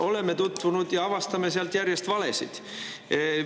" Oleme tutvunud ja avastanud sealt järjest valesid.